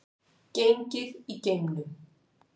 Gengið í geimnum